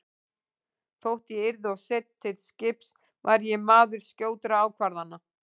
Þótt ég yrði of seinn til skips var ég maður skjótra ákvarðana.